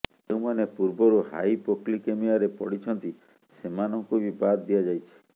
ଯେଉଁମାନେ ପୂର୍ବରୁ ହାଇପୋକ୍ଲିକେମିଆରେ ପଡ଼ିଛନ୍ତି ସେମାନଙ୍କୁ ବି ବାଦ ଦିଆଯାଇଛି